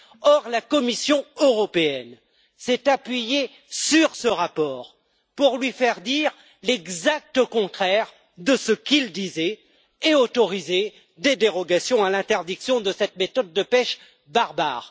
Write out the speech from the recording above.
Or, la Commission européenne s'est appuyée sur ce rapport pour lui faire dire l'exact contraire de ce qu'il disait et autoriser des dérogations à l'interdiction de cette méthode de pêche barbare.